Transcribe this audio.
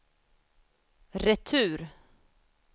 retur